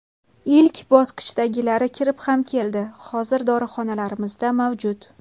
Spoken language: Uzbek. Ilk bosqichdagilari kirib ham keldi, hozir dorixonalarimizda mavjud.